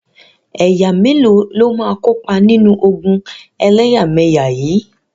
Ẹ̀yà mélòó ló máa kópa nínú ogun ẹlẹ́yàmẹyà yìí?